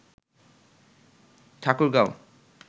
Thakurgaon